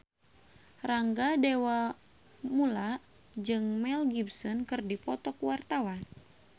Rangga Dewamoela jeung Mel Gibson keur dipoto ku wartawan